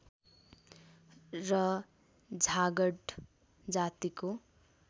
र झाँगड जातिको